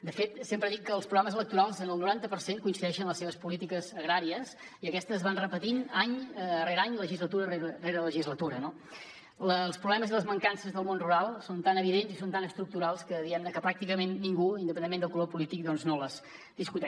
de fet sempre dic que als programes electorals en el noranta per cent hi coincideixen les seves polítiques agràries i aquestes es van repetint any rere any legislatura rere legislatura no els problemes i les mancances del món rural són tan evidents i són tan estructurals que diguem ne pràcticament ningú independentment del color polític no els discuteix